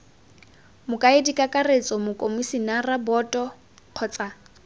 mokaedi kakaretso mokomisinara boto kgotsa